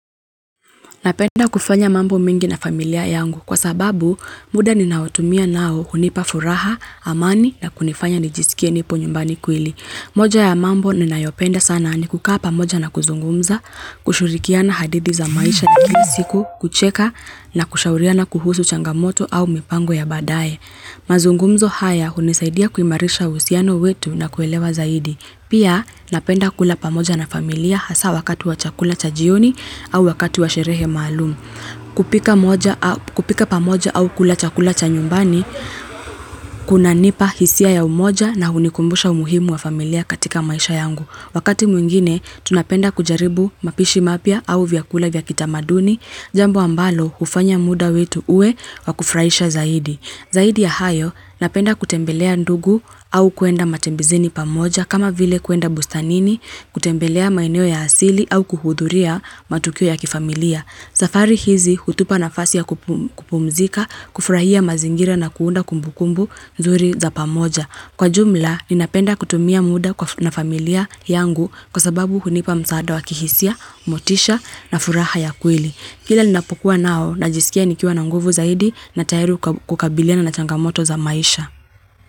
Napenda kufanya mambo mingi na familia yangu, kwa sababu muda ninautumia nao hunipa furaha, amani na kunifanya nijisikie nipo nyumbani kweli. Moja ya mambo ninayopenda sana ni kukaa pamoja na kuzungumza, kushurikiana hadithi za maisha ya kika siku, kucheka na kushauriana kuhusu changamoto au mipango ya baadae. Mazungumzo haya, hunisaidia kuimarisha uhusiano wetu na kuelewa zaidi. Pia, napenda kula pamoja na familia hasa wakati wa chakula cha jioni au wakati wa sherehe maalum. Kupika pamoja au kula chakula cha nyumbani, kunanipa hisia ya umoja na hunikumbusha umuhimu wa familia katika maisha yangu. Wakati mwingine, tunapenda kujaribu mapishi mapya au vyakula vya kitamaduni, jambo ambalo hufanya muda wetu uwe wa kufuraisha zaidi. Zaidi ya hayo, napenda kutembelea ndugu au kwenda matembezini pamoja, kama vile kuenda bustanini, kutembelea maeneo ya asili au kuhudhuria matukio ya kifamilia. Safari hizi, hutupa nafasi ya kupumzika, kufurahia mazingira na kuunda kumbukumbu nzuri za pamoja. Kwa jumla, ninapenda kutumia muda na familia yangu kwa sababu hunipa msaada wa kihisia, motisha na furaha ya kweli. Kila ni napokuwa nao, najisikia nikiwa na nguvu zaidi, na tayiri kukabiliana na changamoto za maisha.